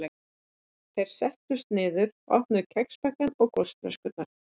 Þeir settust niður og opnuðu kexpakkana og gosflöskurnar.